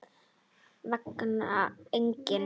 Engan veginn